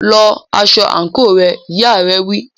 Lọ aṣọ àǹkóò rẹ, ìyá rẹ̀ wí.